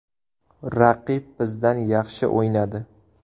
Raqib bizdan yaxshi o‘ynadi.